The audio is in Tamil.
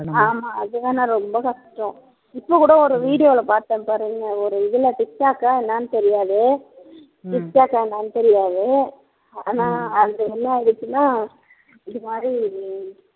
ஆமா அது வேணா ரொம்ப கஷ்டம் இப்ப கூட ஒரு video ல பார்த்தேன் பாருங்க ஒரு இதுல tiktok ஆ என்னன்னு தெரியாது tiktok ஆ என்னன்னு தெரியாது ஆனால் அது என்ன ஆயிடுச்சுன்னா இது மாதிரி